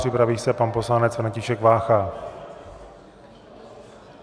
Připraví se pan poslanec František Vácha.